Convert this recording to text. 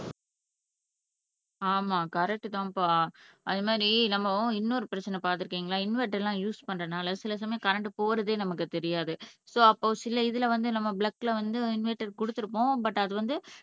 ஆமா கரெக்ட்தான்பா அது மாதிரி நம்ம இன்னொரு பிரச்சனை பார்த்திருக்கீங்களா இன்வெர்டர் எல்லாம் யூஸ் பண்றதுனால சில சமயம் கரண்ட் போறதே நமக்கு தெரியாது சோ அப்போ சில இதுல வந்து நம்ம பிளக் கொடுத்திருப்போம் பட் அது வந்து